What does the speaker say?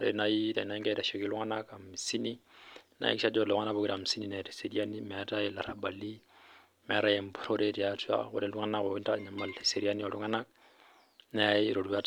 ore naaji tenaa egira aitasheki iltung'ana hamisini naa eyakikisha Ajo ore lelo tung'ana pookira hamisini netaa eseriani meetae elarabali meetae empurore tiatua ore iltung'ana oitanyamal eseriani oo iltung'ana neyau eroruat